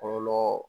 Kɔlɔlɔ